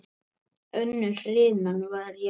Önnur hrinan var jöfn.